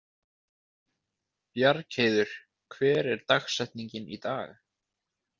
Bjargheiður, hver er dagsetningin í dag?